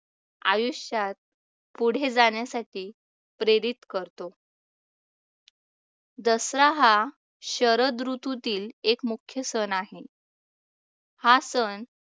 आयुष्यात पुढे जाण्यासाठी प्रेरित करतो. दसरा हा शरद ऋतूतील एक मुख्य सण आहे. हा सण